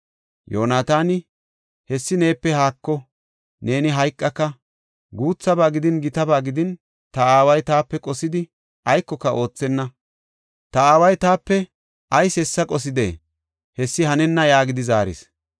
Yoonataani, “Hessi neepe haako; neeni hayqaka. Guuthaba gidin, gitaba gidin, ta aaway taape qosidi aykoka oothenna. Ta aaway taape ayis hessa qosidee? Hessi hanenna” yaagidi zaaris.